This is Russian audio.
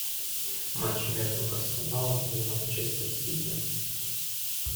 матч между арсеналом и манчестер сити